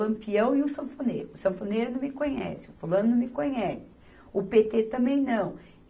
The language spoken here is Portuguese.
Lampião e o Sanfoneiro, o Sanfoneiro não me conhece, o Fulano não me conhece, o Pê tê também não.